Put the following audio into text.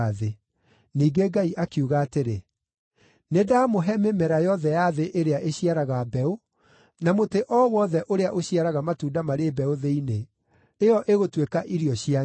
Ningĩ Ngai akiuga atĩrĩ, “Nĩndamũhe mĩmera yothe ya thĩ ĩrĩa ĩciaraga mbeũ, na mũtĩ o wothe ũrĩa ũciaraga matunda marĩ mbeũ thĩinĩ. Ĩyo ĩgũtuĩka irio cianyu.